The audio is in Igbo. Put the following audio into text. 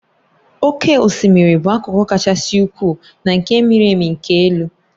Oké osimiri bụ akụkụ kasị ukwuu na nke miri emi nke elu.